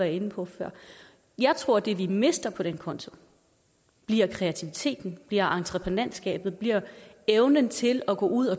ind på før jeg tror at det vi mister på den konto bliver kreativiteten bliver entreprenantskabet bliver evnen til at gå ud